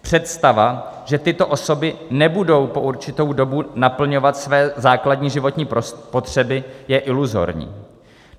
Představa, že tyto osoby nebudou po určitou dobu naplňovat své základní životní potřeby, je iluzorní.